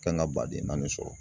Kan ka baden naani sɔrɔ